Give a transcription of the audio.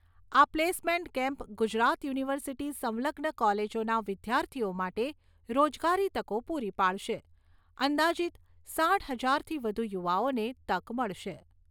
આ placement camp Gujarat university સંલગ્ન કોલેજોના વિદ્યાર્થીઓ માટે રોજગારી તકો પૂરી પાડશે, અંદાજિત સાઠ હજારથી વધુ યુવાઓને તક મળશે.